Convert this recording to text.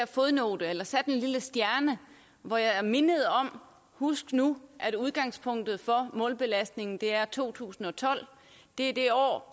fodnote eller satte en lille stjerne hvor jeg mindede om at husk nu at udgangspunktet for målbelastningen er to tusind og tolv det er det år